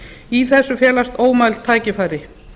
í þessu felast ómæld tækifæri